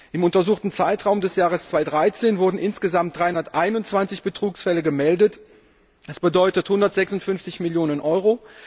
Im untersuchten Zeitraum des Jahres 2013 wurden insgesamt 321 Betrugsfälle gemeldet, das bedeutet 156 Millionen Euro.